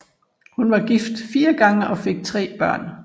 Hun var gift fire gange og fik tre børn